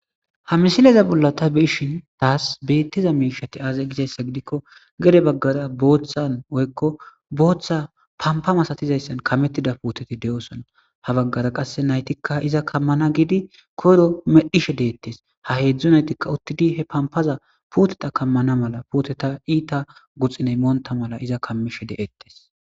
ha misileza bolla ta be'ishin taas beettiza miishati aazay gizayssa gidikko gede baggara booththan woykko booththa pampa masatizayssan kamettida puuteti de7osona ha baggara qasse naytikka iza kammana giidi koro medhishe deettes ha heedzdzu naytikka uttidi he pampaza puteta kammana mala puteta iita guxiney moonta mala iza kammishe de'ettes